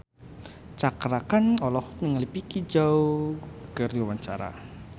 Cakra Khan olohok ningali Vicki Zao keur diwawancara